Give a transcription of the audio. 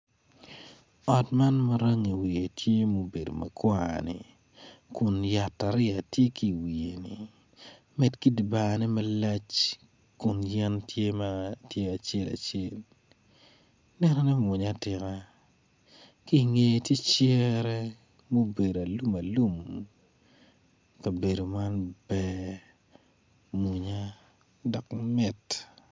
Ot man ma rangi wiye tye mubedo ma kwar ni kun yataria tye ki i wiye-ni med ki dyebarne malac kun yen tye acel acel nenone mwonya atika ki i ngeye tye cere ma obedo alum alum kabedo man ber mwonya dok mit.